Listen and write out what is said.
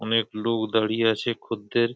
অনেক লোক দাঁড়িয়ে আছে খদ্দের।